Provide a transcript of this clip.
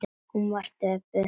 Hún var döpur.